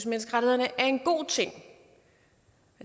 menneskerettighederne er en god ting